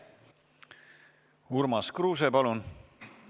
Urmas Kruuse, palun!